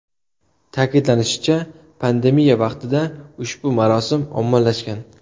Ta’kidlanishicha, pandemiya vaqtida ushbu marosim ommalashgan.